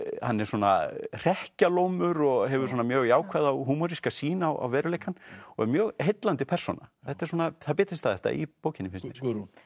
hann er svona hrekkjalómur og hefur mjög jákvæða og húmoríska sýn á veruleikann og er mjög heillandi persóna þetta er svona það bitastæðasta í bókinni finnst mér